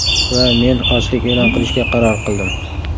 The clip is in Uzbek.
Va men ochlik e’lon qilishga qaror qildim.